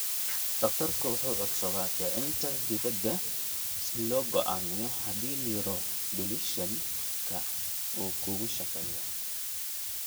Dhaqtarku wuxuu codsadaa kicinta dibadda si loo go'aamiyo haddii neuromodulation-ku uu kugu shaqeeyo.